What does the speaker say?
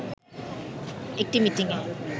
একটি মিটিংয়ে